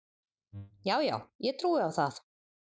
Já, já, ég trúi á það